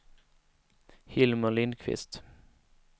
Hilmer Lindquist